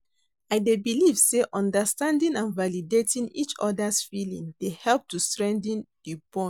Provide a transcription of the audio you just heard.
I dey believe say understanding and validating each other's feelings dey help to strengthen di bond.